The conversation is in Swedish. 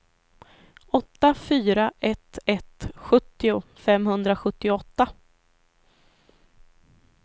åtta fyra ett ett sjuttio femhundrasjuttioåtta